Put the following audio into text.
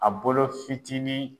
A bolo fitinin